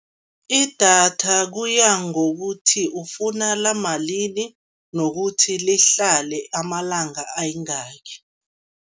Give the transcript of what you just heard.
Idatha kuya ngokuthi ufuna lamalini, nokuthi lihlale amalanga ayingaki.